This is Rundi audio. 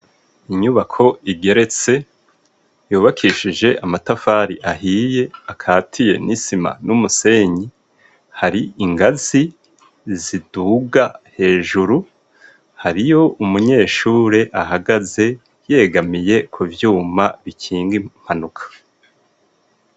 Inyubako igeretse yubakishije amatafari ahiye akatiye n'isima n'umusenyi hari ingazi ziduga hejuru hariyo umunyeshure ahagaze yegamiye kuvyuma bikinga impanuka.